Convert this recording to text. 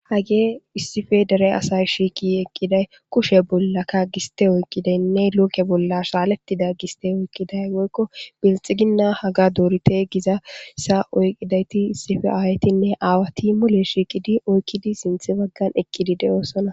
hagee issife dere asay shiiki eqqiday kushe bollakka giste oyqqidaynne looke bolla shaaletida giste oyqqiday woykko belxiginna haga doorite giza sa oyqidayti issife aawaytinne aawati mole shiikidi oykkidi sinthi baggan ekqidi de'oosona.